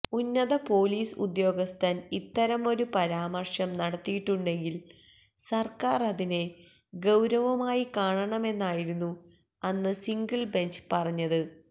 ഉന്നത പൊലീസ് ഉദ്യോഗസ്ഥൻ ഇത്തരമൊരു പരാമർശം നടത്തിയിട്ടുണ്ടെങ്കിൽ സർക്കാർ അതിനെ ഗൌരവമായി കാണണമെന്നായിരുന്നു അന്ന് സിംഗിൾബെഞ്ച് പറഞ്ഞത്